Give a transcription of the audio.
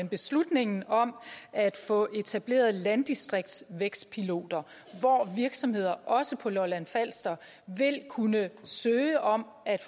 beslutningen om at få etableret landdistriktsvækstpiloter hvor virksomheder også på lolland falster vil kunne søge om at